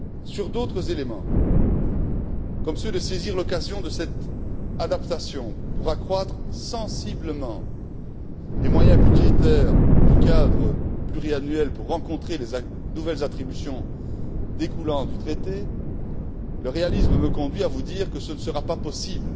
Sur d'autres éléments, comme celui consistant à saisir l'occasion de cette adaptation pour accroître sensiblement les moyens budgétaires du cadre pluriannuel pour tenir compte des nouvelles attributions découlant du traité, le réalisme me conduit à vous dire que ce ne sera pas possible